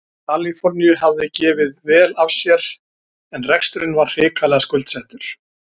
Kaliforníu hafði gefið vel af sér en reksturinn var hrikalega skuldsettur.